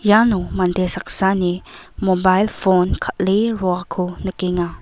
iano mande saksani mobail pon kal·e roako nikenga.